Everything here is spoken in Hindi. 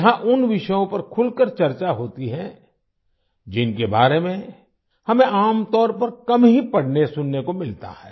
यहां उन विषयों पर खुलकर चर्चा होती है जिनके बारे में हमें आमतौर पर कम ही पढ़नेसुनने को मिलता है